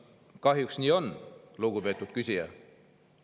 Kahjuks nii on, lugupeetud küsija.